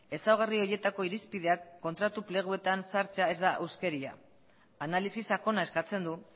ezaugarri horietako irizpideak kontratu pleguetan sartzea ez da huskeria analisi sakona eskatzen du